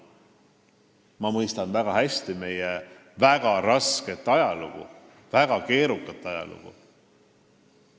Ma mõistan väga hästi meie väga rasket ajalugu, väga keerukat ajalugu.